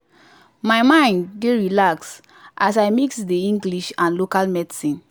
my mind dey relax as i mix the english and local medicine